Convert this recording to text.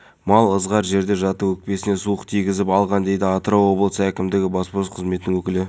әрқайсысы қолынан келгенше көмек қолын созды жиналған қаржыға біз отбасыға киім аяқ киім мектеп құралдарын